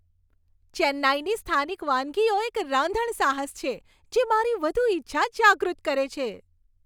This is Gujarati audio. ચેન્નાઈની સ્થાનિક વાનગીઓ એક રાંધણ સાહસ છે, જે મારી વધુ ઇચ્છા જાગૃત કરે છે.